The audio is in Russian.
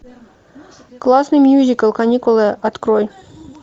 классный мюзикл каникулы открой